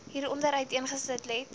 hieronder uiteengesit let